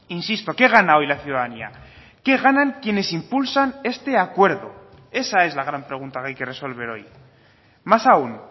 insisto qué gana hoy la ciudadanía qué ganan quienes impulsan este acuerdo esa es la gran pregunta que hay que resolver hoy más aún